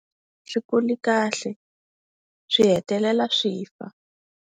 A swi kuli kahle swi hetelela swi fa.